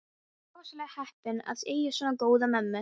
Þú ert rosalega heppinn að eiga svona góða mömmu.